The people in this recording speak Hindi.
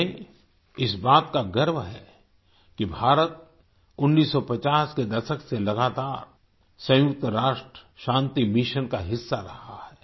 हमें इस बात का गर्व है कि भारत 1950 के दशक से लगातार सयुंक्त राष्ट्र शांति मिशन का हिस्सा रहा है